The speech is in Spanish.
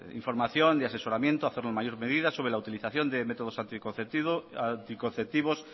información de asesoramiento hacerlo en mayor medida sobre la utilización de métodos anticonceptivos